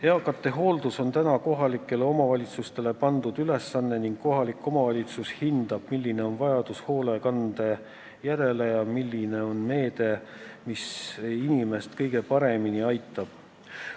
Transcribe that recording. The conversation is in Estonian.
Eakate hooldus on praegu kohalike omavalitsuste ülesanne ning kohalik omavalitsus hindab, milline on vajadus hoolekande järele ja milline on meede, mis inimest kõige paremini aitab.